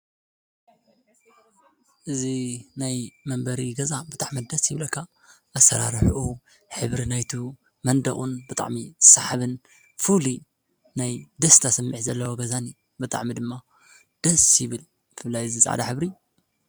እዙ ናይ መንበሪ ገዛ ብጥዕም ደስ ይብለካ ኣሠራርሕኦ ኅብሪ ናይቱ መንደኡን ብጣዕሚ ሳሓብን ፉሉ ናይ ደስተ ኣሰምዕ ዘለዋ ገዛኒ በጥዕሚ ድማ ደስ ይብል ፍላይ ዝጸዕዳ ሕብሪ